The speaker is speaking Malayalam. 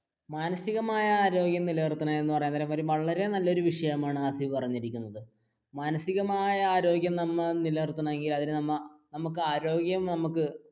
മാനസികമായാ ആരോഗ്യം നിലനിർത്തുക എന്ന് പറയാൻ നേരം വളരെ നല്ലൊരു വിഷയമാണ് ഹാസിഫ് പറഞ്ഞരിക്കുന്നത് മാനസികമായ ആരോഗ്യം നമ്മൾ നിലനിർത്തണമെങ്കിൽ അതിനു നമ്മൾ ആരോഗ്യം നമുക്ക്